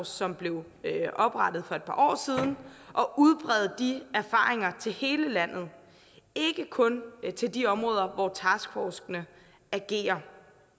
som blev oprettet for et par år siden og udbrede de erfaringer til hele landet ikke kun til de områder hvor taskforcene agerer